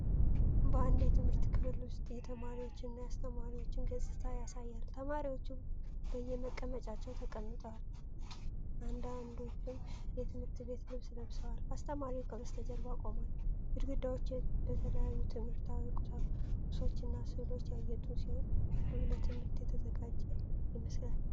በአንድ የትምህርት ክፍል ውስጥ የተማሪዎችንና የአስተማሪን ገጽታ ያሳያል። ተማሪዎቹ በየመቀመጫቸው ተቀምጠዋል፤ አንዳንዶቹም የትምህርት ቤት ልብስ ለብሰዋል። አስተማሪው ከበስተጀርባ ቆሟል። ግድግዳዎቹ በተለያዩ ትምህርታዊ ቁሶችና ሥዕሎች ያጌጡ ሲሆን፣ ክፍሉ ለትምህርት የተዘጋጀ ይመስላል።